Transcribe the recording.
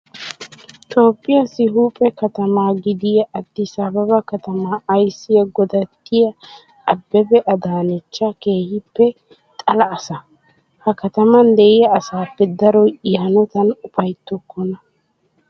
Toophphiyaassi huuphe katama gidiyaa Addis Ababaa katama ayissiyaa godattiyaa Abbebe Adaanechcha keehippe xala asa. He kataman diyaa asaappe daroy I hanotan upayittokkona.